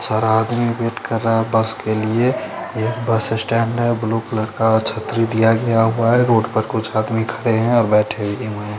सारा आदमी वेट कर रहा है बस के लिए ये एक बस स्टैंड है ब्लू कलर का छतरी दिया गया हुआ है रोड पर कुछ आदमी खड़े हैं और बैठे भी हुए हैं।